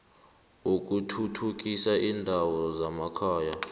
wokuthuthukisa iindawo zemakhaya